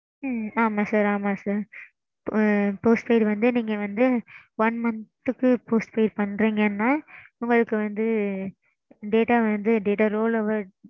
ம்ம் ஆமாம் sir ஆமாம் sir. postpaid வந்து நீங்க வந்து one month க்கு postpaid பண்றீங்கனா உங்களுக்கு வந்து. data வந்து data roll over.